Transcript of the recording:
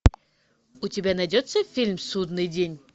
у тебя найдется фильм судный день